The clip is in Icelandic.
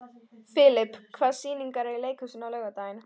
Filip, hvaða sýningar eru í leikhúsinu á laugardaginn?